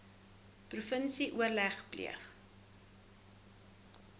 provinsie oorleg pleeg